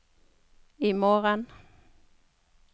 imorgen